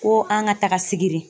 Ko an ka taga sigiri .